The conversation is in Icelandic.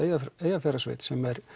Eyjafjarðarsveit